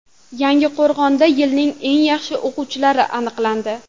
Yangiqo‘rg‘onda yilning eng yaxshi o‘quvchilari aniqlandi.